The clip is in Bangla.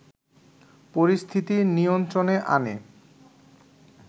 পরিস্থিতি নিয়ন্ত্রণে আনে